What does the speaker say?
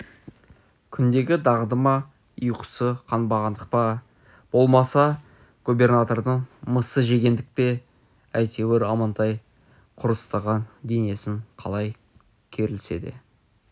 күндегі дағды ма ұйқысы қанбағандық па болмаса губернатордың мысы жеңгендік пе әйтеуір амантай құрыстаған денесін қалай керілсе де